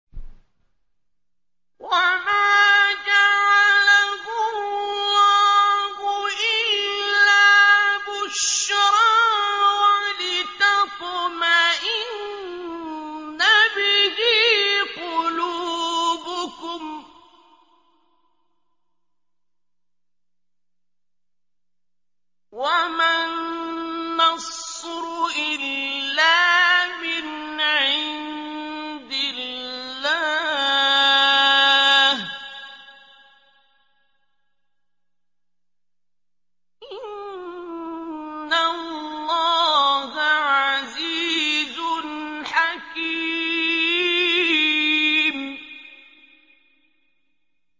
وَمَا جَعَلَهُ اللَّهُ إِلَّا بُشْرَىٰ وَلِتَطْمَئِنَّ بِهِ قُلُوبُكُمْ ۚ وَمَا النَّصْرُ إِلَّا مِنْ عِندِ اللَّهِ ۚ إِنَّ اللَّهَ عَزِيزٌ حَكِيمٌ